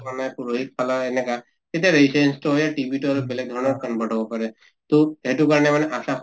মানে পুৰহি খালা এনেকা তেতিয়া হৈ TB আৰু বেলেগ ধৰণৰ convert হʼব পাৰে, তʼ সেইটো কাৰণে মানে ASHA